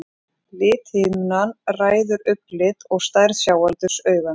lithimnan ræður augnlit og stærð sjáaldurs augans